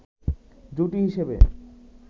জুটি হিসেবে